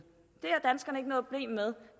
med